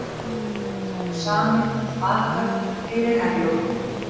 Ósamið um varahöfn fyrir Herjólf